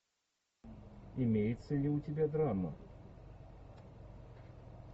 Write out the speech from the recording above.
имеется ли у тебя драма